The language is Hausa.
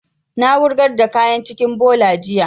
Na wurgar da kayan cikin bola jiya